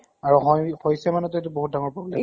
আৰু হয় হৈছে মানে টো এইটো বহুত ডাঙৰ problem